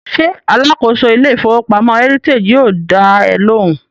Ṣé alákòóso ilé ìfowópamọ́ Heritage yóò dá ẹ lóhùn?